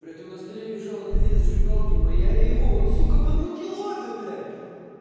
при этом на столе лежало две зажигалки моя и его он сука подмутил обе блять